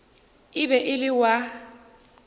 e be e le wa